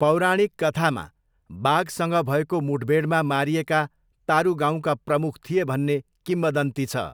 पौराणिक कथामा बाघसँग भएको मुठभेडमा मारिएका तारू गाउँका प्रमुख थिए भन्ने किंवदन्ती छ।